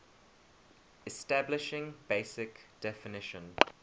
establishing basic definition